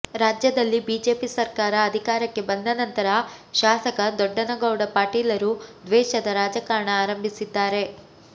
ರಾಜ್ಯದಲ್ಲಿ ಬಿಜೆಪಿ ಸರ್ಕಾರ ಅಧಿಕಾರಕ್ಕೆ ಬಂದ ನಂತರ ಶಾಸಕ ದೊಡ್ಡನಗೌಡ ಪಾಟೀಲರು ದ್ವೇಷದ ರಾಜಕಾರಣ ಆರಂಭಿಸಿದ್ದಾರೆ